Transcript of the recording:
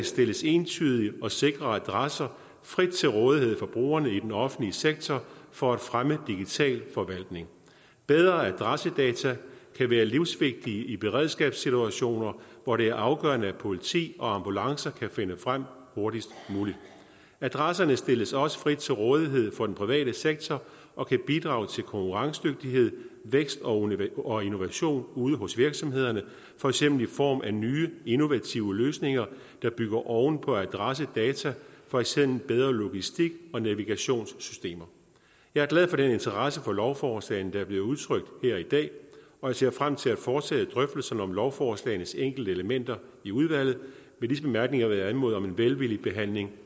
stilles entydige og sikre adresser frit til rådighed for brugerne i den offentlige sektor for at fremme digital forvaltning bedre adressedata kan være livsvigtigt i beredskabssituationer hvor det er afgørende at politi og ambulancer kan nå frem hurtigst muligt adresserne stilles også frit til rådighed for den private sektor og kan bidrage til konkurrencedygtighed vækst og og innovation ude hos virksomhederne for eksempel i form af nye innovative løsninger der bygger oven på adressedata for eksempel bedre logistik og navigationssystemer jeg er glad for den interesse for lovforslagene der er blevet udtrykt her i dag og jeg ser frem til at fortsætte drøftelserne om lovforslagenes enkelte elementer i udvalget med disse bemærkninger vil jeg anmode om en velvillig behandling